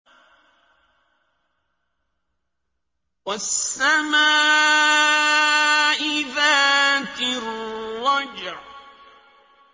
وَالسَّمَاءِ ذَاتِ الرَّجْعِ